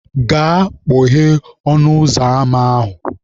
Gaa kpọghee ọnụ ụzọ ama ahụ!